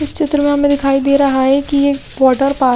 इस चित्र में हमें दिखाई दे रहा है कि ये एक वाटर पा--